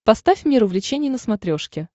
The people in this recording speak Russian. поставь мир увлечений на смотрешке